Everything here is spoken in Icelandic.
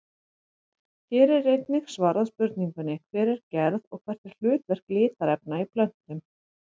Hér er einnig svarað spurningunni Hver er gerð og hvert er hlutverk litarefna í plöntum?